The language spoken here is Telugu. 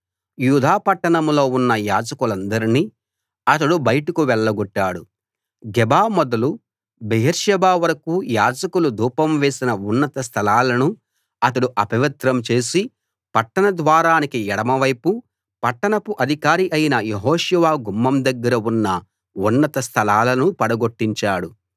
యూదా పట్టణంలో ఉన్న యాజకులందర్నీ అతడు బయటకు వెళ్లగొట్టాడు గెబా మొదలు బెయేర్షెబా వరకూ యాజకులు ధూపం వేసిన ఉన్నత స్థలాలను అతడు అపవిత్రం చేసి పట్టణ ద్వారానికి ఎడమ వైపు పట్టణపు అధికారి అయిన యెహోషువ గుమ్మం దగ్గర ఉన్న ఉన్నత స్థలాలను పడగొట్టించాడు